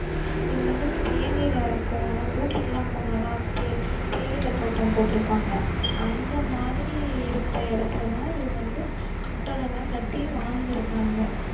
இது வந்து இப்போ ஊட்டிக்கு எல்லாம் போனோம்னா தே~ தேயிலைத் தோட்டம் போட்டிருப்பாங்க அந்த மாதிரி இருக்கிற இடத்திலதான் இவுங்க வந்து கட்டடம் எல்லாம் கட்டி வாழ்ந்திருக்காங்க